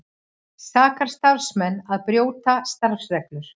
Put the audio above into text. Sakar starfsmenn að brjóta starfsreglur